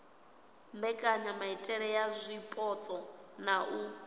mbekanyamaitele ya zwipotso na u